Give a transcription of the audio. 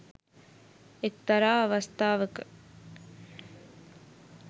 එක්තරා අවස්ථාවක